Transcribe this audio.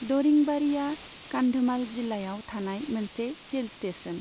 दरिंबाड़ीया कान्धमाल जिल्लायाव थानाय मोनसे हिल स्टेशन।